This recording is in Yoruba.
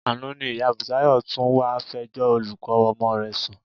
Àná ni ìyá Bùsáyọ̀ tún wá fẹjọ́ olùkọ́ ọmọ rẹ̀ sùn